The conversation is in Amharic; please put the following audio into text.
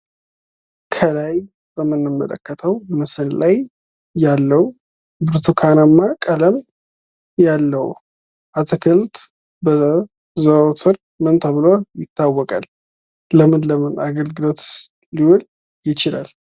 ከላይ በምንመለከተው ምስል ላይ ያለው ብርቱካናማ ቀለም ያለው አትክልት ምን ተብሎ ይታወቃል? ምን ምም አገልግሎትስ ይሰጣል?